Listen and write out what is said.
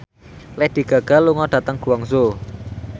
Lady Gaga lunga dhateng Guangzhou